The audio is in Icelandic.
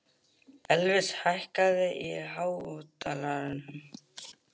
Elvis, hækkaðu í hátalaranum.